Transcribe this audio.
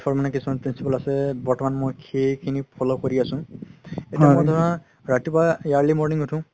life ৰ মানে কিছুমান principle আছে বৰ্তমান মই সেইখিনি follow কৰি আছো এতিয়া ধৰা ৰাতিপুৱাই early morning উথো